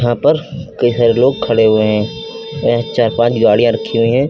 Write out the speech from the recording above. यहां पर कई सारे लोग खड़े हुए हैं यहां चार पांच गाड़ियां रखी हुई है।